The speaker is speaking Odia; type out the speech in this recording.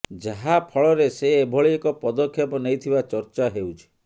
ଯାହା ଫଳରେ ସେ ଏଭଳି ଏକ ପଦକ୍ଷେପ ନେଇଥିବା ଚର୍ଚ୍ଚା ହେଉଛି